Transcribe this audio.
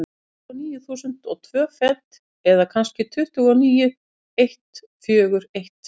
Tuttugu og níu þúsund og tvö fet, eða kannski tuttugu og níu eitt fjögur eitt.